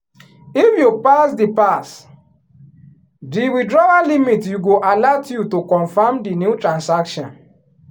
if you pass the pass di withdrawal limit you go alert you to confirm di new transaction.